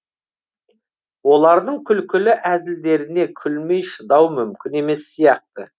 олардың күлкілі әзілдеріне күлмей шыдау мүмкін емес сияқты